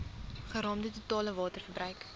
geraamde totale waterverbruik